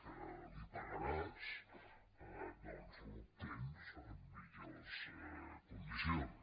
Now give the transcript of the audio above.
que li pagaràs doncs l’obtens amb millors condicions